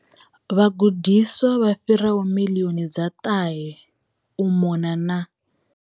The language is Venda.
Vhagudiswa vha fhiraho miḽioni dza ṱahe u mona na